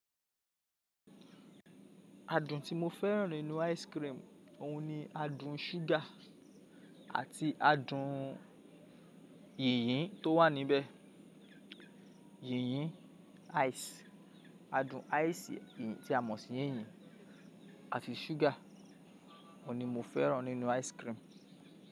Adun tí mo fẹ́ràn nínú ice cream, òun ni adun sugar àti adun yìnyín tó wà níbẹ̀. Yìnyín ice, adun ice yìnyín tí a mọ̀ sí yìnyín àti sugar, òun ni mo fẹ́ràn nínú ice cream.